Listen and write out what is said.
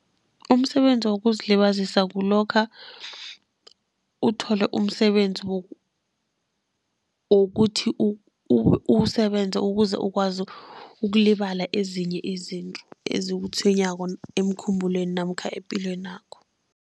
Umsebenzi wokuzilibazisa kulokha uthole umsebenzi wokuthi uwusebenze ukuze ukwazi, ukulibala ezinye izinto ezikutshwenyako emkhumbulweni namkha epilwenakho.